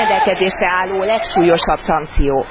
Ez a rendelkezésre álló legsúlyosabb szankció.